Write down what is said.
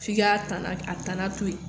F'i ka a tana to yen.